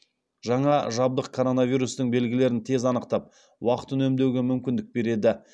жаңа жабдық коронавирустің белгілерін тез анықтап уақыт үнемдеуге мүмкіндік береді